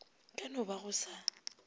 ka no ba go sa